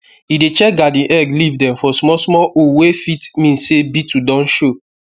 e dey check garden egg leaf dem for small small hole wey fit mean say beetle don show